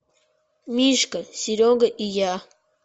мишка серега и я